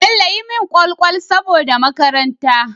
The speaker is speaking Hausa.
Bello yi mun kwal kwal saboda makaranta